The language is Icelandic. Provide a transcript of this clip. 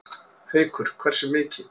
Haukur: Hversu mikið?